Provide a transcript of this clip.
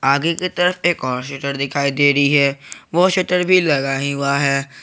आगे के तरफ एक और शटर दिखाई दे रही है वो शटर भी लगा ही हुआ है।